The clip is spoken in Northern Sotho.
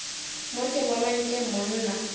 mo ke bona nke monna